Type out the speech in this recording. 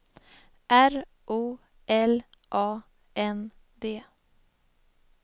R O L A N D